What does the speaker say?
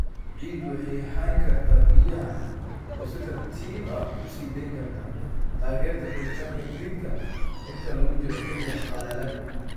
Ciiddu waxay hayn kartaa biyaha oo si tartiib ah u sii deyn kartaa, taageerta koritaanka dhirta inta lagu jiro xilliga qallalan.